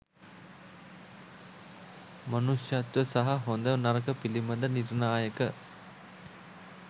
මනුෂ්‍යත්ව සහ හොඳ නරක පිලිබඳ නිර්ණායක